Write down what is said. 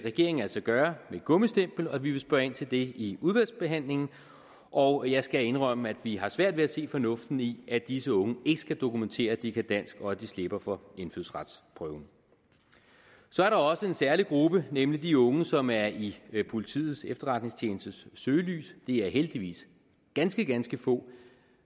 regeringen altså gøre med et gummistempel og vi vil spørge ind til det i udvalgsbehandlingen og jeg skal indrømme at vi har svært ved at se fornuften i at disse unge ikke skal dokumentere at de kan dansk og at de slipper for indfødsretsprøven så er der også en særlig gruppe nemlig de unge som er i politiets efterretningstjenestes søgelys det er heldigvis ganske ganske få